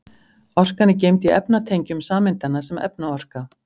Orkan er geymd í efnatengjum sameindanna sem efnaorka.